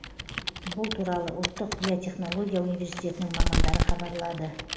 бұл туралы ұлттық биотехнология университетінің мамандары хабарлады